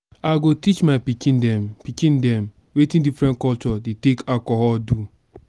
i go teach my pikin dem pikin dem wetin differen culture dey take alcohol do.